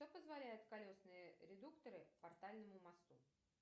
что позволяет колесные редукторы портальному мосту